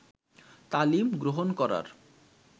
তালিম গ্রহণ করার